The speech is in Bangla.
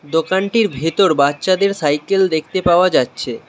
দোকানটির ভেতর বাচ্ছাদের সাইকেল দেখতে পাওয়া যাচ্ছে।